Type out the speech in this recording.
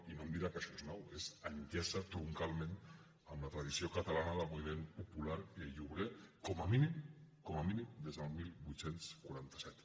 i no em dirà que això és nou enllaça troncalment amb la tradició catalana del moviment popular i obrer com a mínim com a mínim des del divuit quaranta set